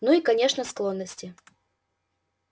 ну и конечно склонности